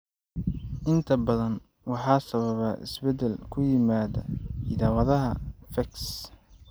Inta badan, waxaa sababa isbeddel ku yimaadda hidda-wadaha PHEX.